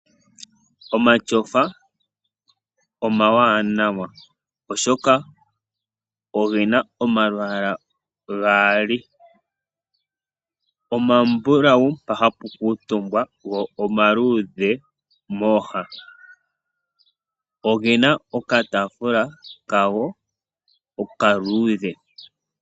Omashofa omawanawa oshoka ogena oma lwaala gaali , omambulau mpa hapu kuutumbwa go omaluudhe mooha. Ogena oka taafula kago okaluudhe.